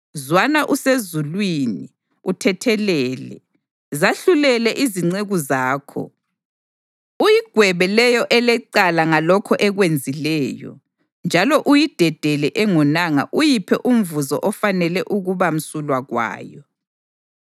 zwana usezulwini, uthethelele. Zahlulele izinceku zakho, uyigwebe leyo elecala ngalokho ekwenzileyo, njalo uyidedele engonanga uyiphe umvuzo ofanele ukuba msulwa kwayo.